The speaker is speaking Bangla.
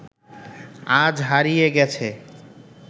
আজ হারিয়ে গেছে